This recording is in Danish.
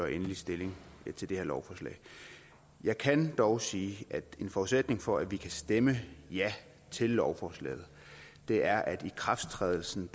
endelig stilling til det her lovforslag jeg kan dog sige at en forudsætning for at vi kan stemme ja til lovforslaget er at ikrafttrædelsen